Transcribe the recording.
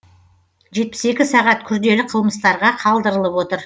сағат күрделі қылмыстарға қалдырылып отыр